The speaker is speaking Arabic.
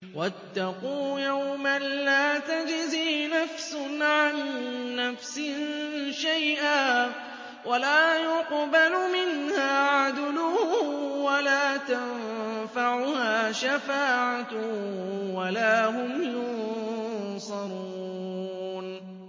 وَاتَّقُوا يَوْمًا لَّا تَجْزِي نَفْسٌ عَن نَّفْسٍ شَيْئًا وَلَا يُقْبَلُ مِنْهَا عَدْلٌ وَلَا تَنفَعُهَا شَفَاعَةٌ وَلَا هُمْ يُنصَرُونَ